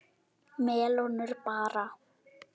Melónur bara!